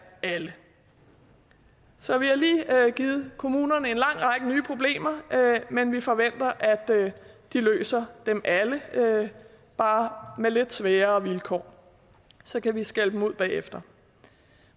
alle så vi har lige givet kommunerne en lang række nye problemer men vi forventer at de løser dem alle bare med lidt sværere vilkår så kan vi skælde dem ud bagefter